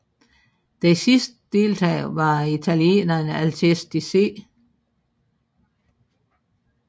Den sidste deltager var italieneren Alcesti C